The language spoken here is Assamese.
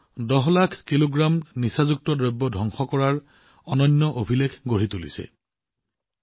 ভাৰতেও ১০ লাখ কেজি ড্ৰাগছ ধ্বংস কৰাৰ এক অনন্য অভিলেখ গঢ়ি তুলিছে